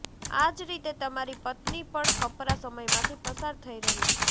આજ રીતે તમારી પત્ની પણ કપરા સમયમાંથી પસાર થઈ રહી છે